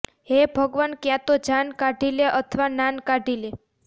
હે ભગવાન ક્યાં તો જાન કાઢી લે અથવા નાન કાઢી લે